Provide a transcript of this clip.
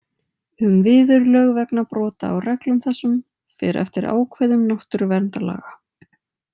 "Um viðurlög vegna brota á reglum þessum fer eftir ákvæðum náttúruverndarlaga. """